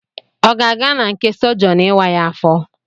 Ọ ga-aga n'nke Sogion ịwa ya afọ